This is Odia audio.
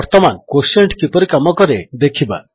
ବର୍ତ୍ତମାନ କ୍ୱୋଟିଏଣ୍ଟ କିପରି କାମ କରେ ଦେଖିବା